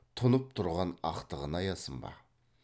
тұнып тұрған ақтығын аясын ба